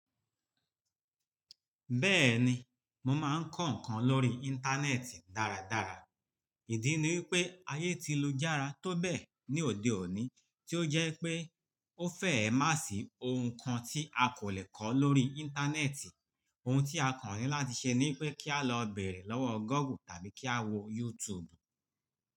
Bẹ́ẹ̀ni, mọ máa ń kọ́ ǹkan lórí Íńtánẹ́ẹ̀tì dáradára. Ìdí ni wípé ayé ti lu jára tó bẹ́ẹ̀ ní òde òní tí ó jẹ́ pé ó fẹ̀ má sì ohun kan tí a kò lè kọ́ lórí Íńtánẹ́ẹ̀tì. Ohun tí a kò ní láti ṣe ni pé kí a lọ bèèrè lọ́wọ́ Google tàbí kí a wò YouTube.